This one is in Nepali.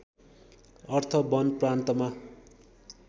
अर्थ वन प्रान्तमा